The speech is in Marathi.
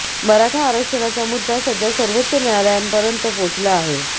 मराठा आरक्षणचा मुद्दा सध्या सर्वोच्च न्यायालयापर्यंत पोहचला आहे